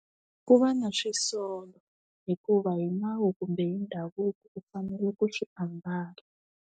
Ku va na swisolo hikuva hi nawu kumbe hi ndhavuko u fanele ku swi ambala.